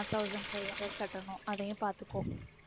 one thousand five hundred கட்டணும் அதையும் பாத்துக்கோ